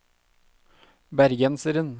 bergenseren